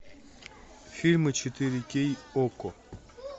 фильмы четыре кей окко